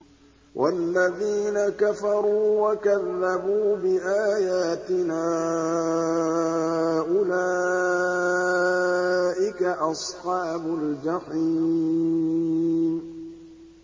وَالَّذِينَ كَفَرُوا وَكَذَّبُوا بِآيَاتِنَا أُولَٰئِكَ أَصْحَابُ الْجَحِيمِ